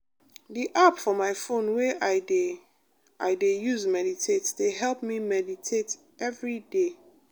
the app for my phone wey i de i de use meditate dey help me meditate everyday